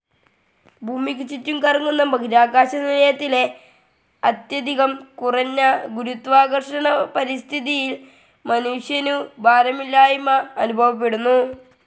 ഭൂമിക്കുചുറ്റും കറങ്ങുന്ന ബഹിരാകാശനിലയത്തിലെ അത്യധികം കുറഞ്ഞ ഗുരുത്വാകർഷണ പരിസ്ഥിതിയിൽ മനുഷ്യനു ഭാരമില്ലായ്മ അനുഭവപ്പെടുന്നു.